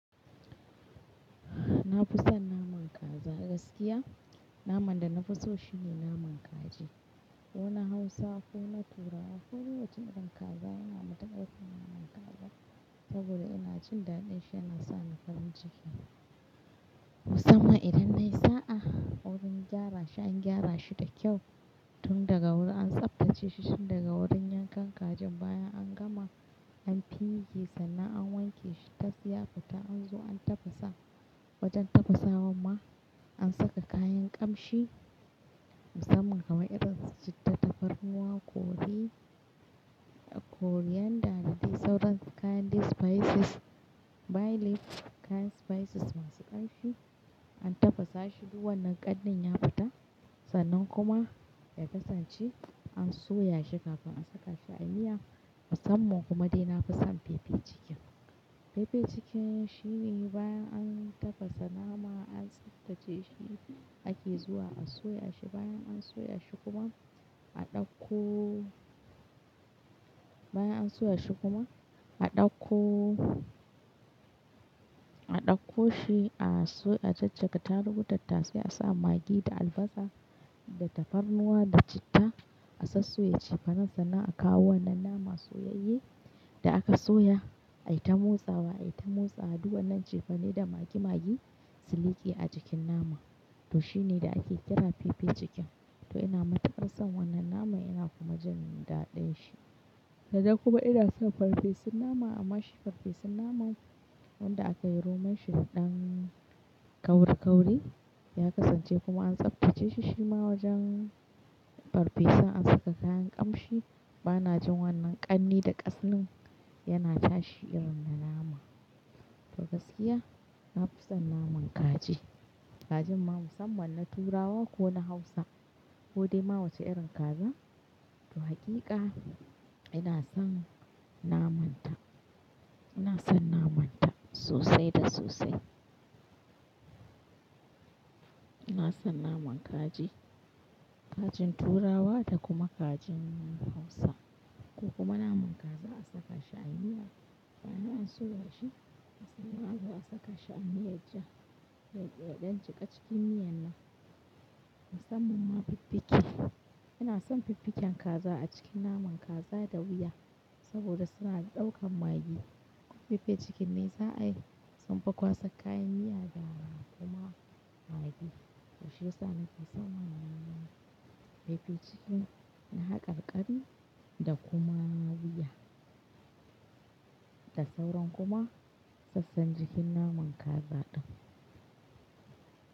Na fi son naman kaza. Gaskiya naman da na fi so shine naman kaji. Ko na Hausa ko na Turawa ko duk wacce irin kaza yana matuƙar min naman kazar saboda ina jin daɗin shi yana sa ni farin ciki. Musamman idan nayi sa'a ta wurin gyrashi an gyra shi da kyau tun daga wurin an tsaftace shi tun daga wurin yankan kajin bayan an gama an fige sannan an wanke shi tas ya futa an zo an tafasa wajen tafasawa ma an saka kayan ƙamshi musamman kamar irin su citta, tafarnuwa, kori, coriander da dai sauran kayan dai spices, bay leaf kayan spices masu ƙamshi an tafasa shi duk wannan ƙarnin ya fita sannan kuma ya kasance an soya shi kafin a saka shi a miya. Musamman kuma dai nafi son pepper chicken pepper chickin shi ne bayan an tafasa nama an tsaftace shi ake zuwa a soya shi bayan an soya shi kuma a ɗauko-- bayan an soya shi kuma a ɗauko-- a ɗauko shi a so-- a jajjaga tarugu tattasai a sa magi da albasa da tafarnuwa da citta a sassoye cefanen nan sannan a kawo wannan naman soyayye da aka soya ai ta motsawa ai ta motsawa duk wannan cefane da magi magi su liƙe a jikin nama. To shine da ake kira pepper chicken to ina mataƙar son wannan naman ina kuma jin daɗin shi. Da dai kuma ina son farfesun nama amma shi farfesun naman wanda aka yi Roman shida dan ƙauri ƙauri ya kasance kuma an tsaftace shi shi ma wajen farfesun an saka kayan ƙamshi bana jin wannan ƙarni da ƙasnin yana tashi irin na nama. To gaskiya na fi son naman kaji. Kajin ma musamman na Turawa ko na Hausa ko dai ma wacce irin kaza. To hakika ina son naman ta ina son naman ta sosai da sosai. Ina son naman kaji. Kajin Turawa da kuma kajin Hausa ko kuma naman kaza a saka shi a miya. Bayan an soya shi a soya kuma a saka shi a miyar ja ya dan jiƙa cikin miyan nan. Musamman ma fifike. Ina son fifiken kaza a cikin naman kaza da wuya saboda suna ɗaukan magi. Pepper chicken ne za'a yi sunfi kwasan kayan miya da kuma magi. To shi ya sa na fi son naman pepper cikin na haƙarƙari da kuma wuya da sauran kuma sassan jikin naman kaza ɗin.